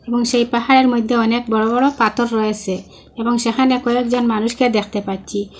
এবং সেই পাহাড়ের মইদ্যে অনেক বড়ো বড়ো পাতর রয়েসে এবং সেখানে কয়েকজন মানুষকে দেখতে পাচ্চি।